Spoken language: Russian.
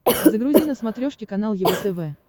загрузи на смотрешке канал его тв